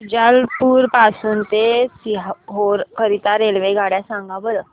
शुजालपुर पासून ते सीहोर करीता रेल्वेगाड्या सांगा बरं